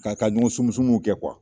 K'a ka ɲɔgɔn sumusumu kɛ